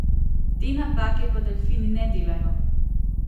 Te napake pa delfini ne delajo.